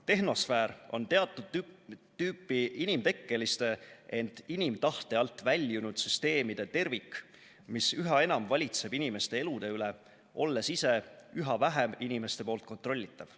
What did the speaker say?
Tehnosfäär on teatud tüüpi inimtekkeliste, ent inimtahte alt väljunud süsteemide tervik, mis üha enam valitseb inimeste elude üle, olles ise üha vähem inimeste poolt kontrollitav.